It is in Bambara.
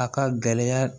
A ka gɛlɛya